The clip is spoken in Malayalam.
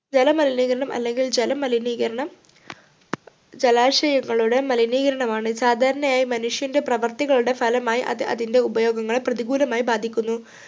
ജലമലിനീകരണം അല്ലെങ്കിൽ ജലമലിനീകരണം ജലാശയങ്ങളുടെ മലിനീകരണമാണ് സാധാരണയായി മനുഷ്യൻ്റെ പ്രവർത്തികളുടെ ഫലമായി അത് അതിൻ്റെ ഉപയോഗങ്ങളെ പ്രതികൂലമായി ബാധിക്കുന്നു